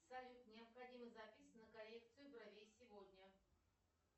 салют необходима запись на коррекцию бровей сегодня